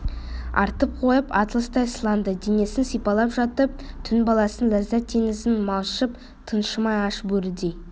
артып қойып атластай сылаңды денесін сипалап жатып түн баласының ләззат теңізінде малшып тыншымай аш бөрідей